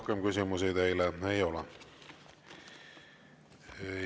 Rohkem küsimusi teile ei ole.